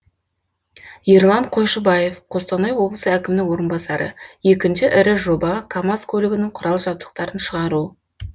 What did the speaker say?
ерлан қойшыбаев қостанай облысы әкімінің орынбасары екінші ірі жоба камаз көлігінің құрал жабдықтарын шығару